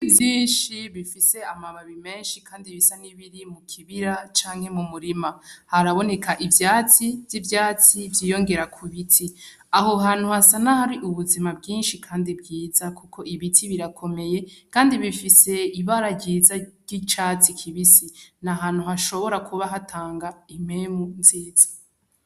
Ibiti vyinshi bifise amababi menshi kandi bisa n'ibiri mukibira canke mumurima. Haraboneka ivyatsi vy'ivyatsi vyiyongera kubiti. Aho hantu hasa nahari ubuzima bwinshi kandi bwiza kuko ibiti birakomeye, kandi bifise ibara ryiza ry'icatsi kibisi. Ni ahantu hashobora kuba hatanga impemu nziza.